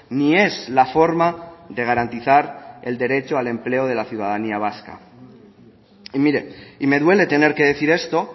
ni es la forma de garantizar el derecho al empleo de la ciudadanía vasca y mire y me duele tener que decir esto